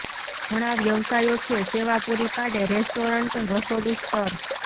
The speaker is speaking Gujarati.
ઘણા વ્યવસાયો છે સેવા પૂરી પાડે રેસ્ટોરન્ટ રસોડું સ્તર